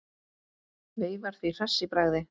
Veifar því hress í bragði.